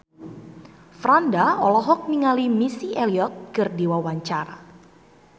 Franda olohok ningali Missy Elliott keur diwawancara